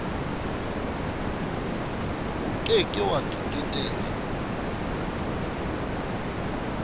o ke ke wa keketeha